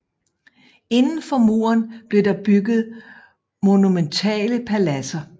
Indenfor muren blev der bygget monumentale paladser